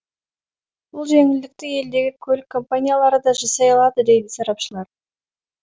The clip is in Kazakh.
бұл жеңілдікті елдегі көлік компаниялары да жасай алады дейді сарапшылар